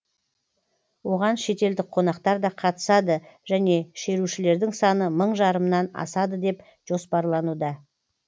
оған шетелдік қонақтар да қатысады және шерушілердің саны мың жарымнан асады деп жоспарлануда